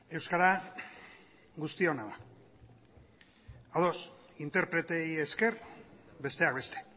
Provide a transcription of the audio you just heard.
euskara guztiona da ados interpreteei esker besteak beste